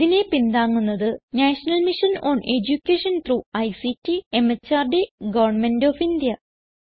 ഇതിനെ പിന്താങ്ങുന്നത് national mission on education through ICT MHRD government of India